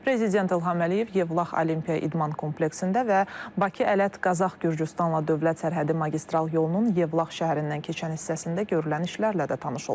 Prezident İlham Əliyev Yevlax Olimpiya İdman kompleksində və Bakı-Ələt-Qazax-Gürcüstanla dövlət sərhədi magistral yolunun Yevlax şəhərindən keçən hissəsində görülən işlərlə də tanış olub.